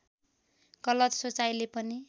गलत सोचाइले पनि